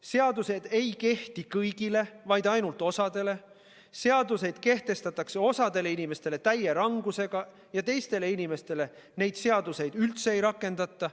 Seadused ei kehti kõigile, vaid ainult osale, seaduseid kehtestatakse osale inimestele täie rangusega ja teistele inimestele neid seadusi üldse ei rakendata.